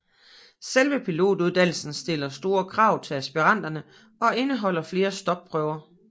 Selve pilotuddannelsen stiller store krav til aspiranterne og indeholder flere stopprøver